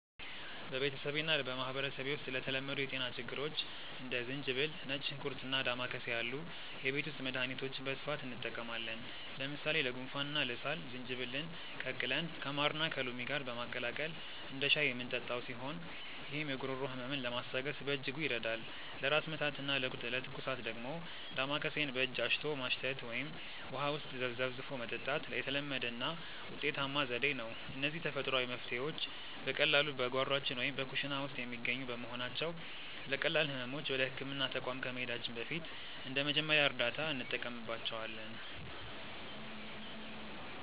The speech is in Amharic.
በቤተሰቤና በማኅበረሰቤ ውስጥ ለተለመዱ የጤና ችግሮች እንደ ዝንጅብል፣ ነጭ ሽንኩርትና ዳማከሴ ያሉ የቤት ውስጥ መድኃኒቶችን በስፋት እንጠቀማለን። ለምሳሌ ለጉንፋንና ለሳል ዝንጅብልን ቀቅለን ከማርና ከሎሚ ጋር በማቀላቀል እንደ ሻይ የምንጠጣው ሲሆን፣ ይህም የጉሮሮ ሕመምን ለማስታገስ በእጅጉ ይረዳል። ለራስ ምታትና ለትኩሳት ደግሞ ዳማከሴን በእጅ አሽቶ ማሽተት ወይም ውሃ ውስጥ ዘፍዝፎ መጠጣት የተለመደና ውጤታማ ዘዴ ነው። እነዚህ ተፈጥሯዊ መፍትሔዎች በቀላሉ በጓሯችን ወይም በኩሽና ውስጥ የሚገኙ በመሆናቸው፣ ለቀላል ሕመሞች ወደ ሕክምና ተቋም ከመሄዳችን በፊት እንደ መጀመሪያ እርዳታ እንጠቀምባቸዋለን።